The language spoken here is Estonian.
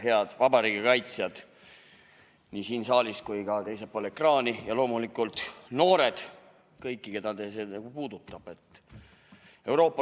Head vabariigi kaitsjad nii siin saalis kui ka teisel pool ekraani ja loomulikult noored, kõik, keda see puudutab.